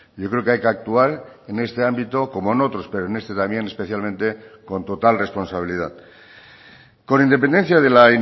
yo creo que hay que actuar en este ámbito como en otros pero en este también especialmente con total responsabilidad con independencia de la